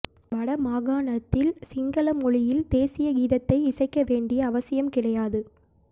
வட மாகாணத்தில் சிங்கள மொழியில் தேசிய கீதத்தை இசைக்க வேண்டிய அவசியம் கிடையாது